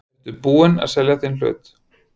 Ertu búinn að selja þinn hlut?